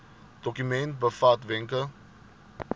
dokument bevat wenke